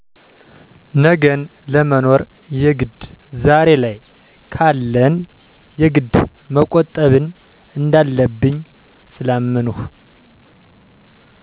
ነገን ለመኖር የግድ ዛሬ ላይ ካለን የግድ መቆጠብን እንዳለብኝ ስላመንሁ።